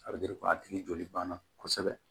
A bɛ a tigi joli banna kosɛbɛ